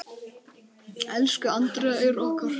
Elsku Andrea Eir okkar.